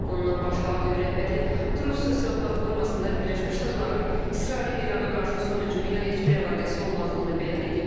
Bundan başqa Ağ Ev rəhbəri "Trus" sosial platformasında Birləşmiş Ştatların İsrailin İrana qarşı son hücumu ilə heç bir əlaqəsi olmadığını bəyan edib.